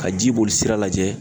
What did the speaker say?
Ka ji boli sira lajɛ